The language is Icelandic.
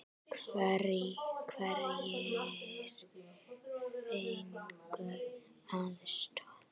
Hverjir fengu aðstoð?